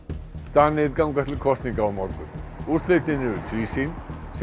Danir ganga til kosninga á morgun úrslitin eru tvísýn